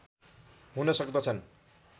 हुन सक्दछन्